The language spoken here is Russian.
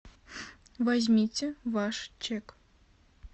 возьмите ваш чек